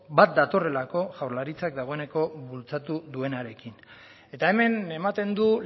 bat datorrelako jaurlaritzak dagoeneko bultzatu duenarekin eta hemen ematen du